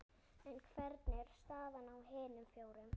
En hvernig er staðan á hinum fjórum?